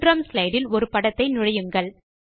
3 ஆம் ஸ்லைடு இல் ஒரு படத்தை நுழையுங்கள்